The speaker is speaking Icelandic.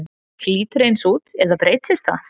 Lítur fólk eins út eða breytist það?